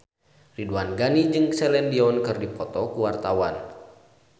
Ridwan Ghani jeung Celine Dion keur dipoto ku wartawan